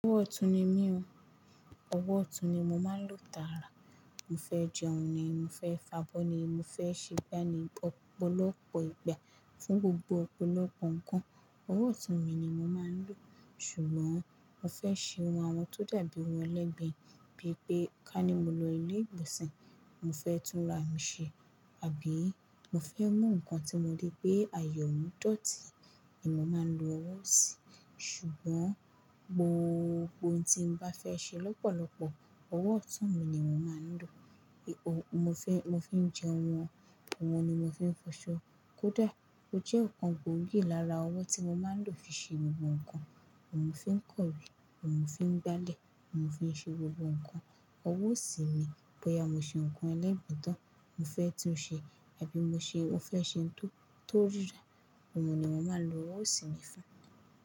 Ọwọ́ ọ̀tún ni mí o, ọwọ́ ọ̀tún ni mo máa ń lò tààrà. Mo fẹ́ jẹun ni, mo fẹ́ fa'bọ́ ni, mo fẹ́ ṣe gbá ni ọ̀pọ̀lọpọ̀ ìgbà, fún gbogbo ọ̀pọ̀lọpọ̀ nǹkan, ọwọ́ ọ̀tún mi ni mo máa ń lò. Ṣùgbọ́n mo fẹ́ ṣe ohun tó dàbí ohun ẹlẹ́gbẹ̀ẹ́, bí i pé ká ní mo lọ ilé ìgbọ̀nsẹ̀, mo fẹ́ túnra mi ṣe, àbí mo fẹ́ mú nǹkan tí mo rí pé àyọ̀ mú dọ̀tí, èmo máa ń lo ọwọ́ ọ̀sìn. Ṣùgbọ́n gbogbo ohun tí n bá fẹ́ ṣe lọ́pọ̀lọpọ̀, ọwọ́ ọ̀tún mi ni mo máa ń lò. Mo fi ń jẹun wọn, wọn ni mo fi ń fọṣọ. Kódà o jẹ́ nǹkan gbògìí lára ọwọ́ tí mo máa ń lò fi ṣe gbogbo nǹkan. Ọ̀un fi ń kọ̀wé, Ọ̀un fi ń gbálẹ̀, Ọ̀un fi ń ṣe gbogbo nǹkan. Ọwọ́ ọ̀sìn mi, bóyá mo ṣe nǹkan ẹlẹ́gbẹ̀ẹ́ tán mo fẹ́ tún ṣe, àbí mo fẹ́ ṣe ohun tó rí ra, ọmọ ni mo máa lo ọwọ́ ọ̀sìn mi fún.